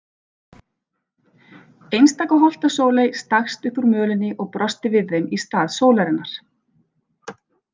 Einstaka holtasóley stakkst upp úr mölinni og brosti við þeim í stað sólarinnar.